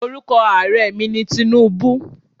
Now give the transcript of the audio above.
Orúkọ Ààrẹ mi ni Tinubu